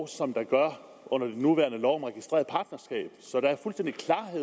som der gør under den nuværende lov om registreret partnerskab sådan